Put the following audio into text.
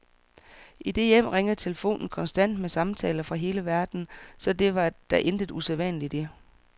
I det hjem ringer telefonen konstant med samtaler fra hele verden, så det var der intet usædvanligt i.